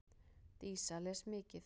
Dísa les mikið.